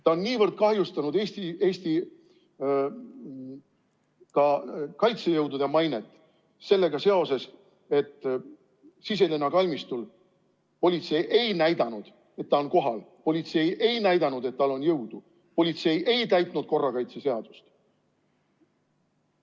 Ta on kahjustanud ka Eesti kaitsejõudude mainet sellega seoses, et Siselinna kalmistul politsei ei näidanud, et ta on kohal, politsei ei näidanud, et tal on jõudu, politsei ei täitnud korrakaitseseadust.